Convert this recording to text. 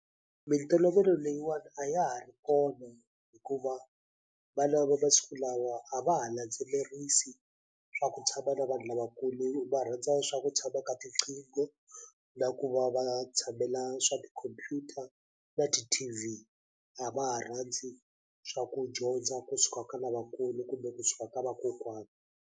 Mintolovelo leyiwani a ya ha ri kona hikuva vana va masiku lawa a va ha landzelerisi swa ku tshama na vanhu lavakulu va rhandza swa ku tshama ka tiqingho na ku va va tshamela swa tikhompyuta na ti-T_V a va ha rhandzi swa ku dyondza kusuka ka lavakulu kumbe kusuka ka vakokwana.